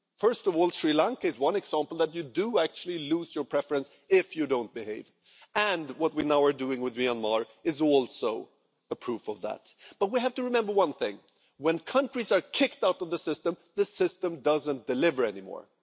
First of all, Sri Lanka is one example of the fact that that you do actually lose your preference if you don't behave, and what we now are doing with Myanmar is also a proof of that. However, we have to remember one thing when countries are kicked out of the system, the system doesn't deliver anymore.